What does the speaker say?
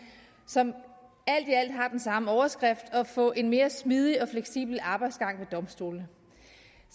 som alt i alt har den samme overskrift nemlig at få en mere smidig og fleksibel arbejdsgang ved domstolene